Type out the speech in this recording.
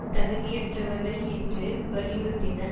தகுதியற்றவர்கள் என்று வலியுறுத்தினர்